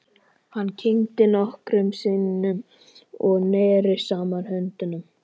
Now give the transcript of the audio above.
Hann kyngdi nokkrum sinnum og neri saman höndunum.